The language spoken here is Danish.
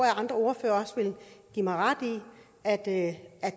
at andre ordførere vil give mig ret i at at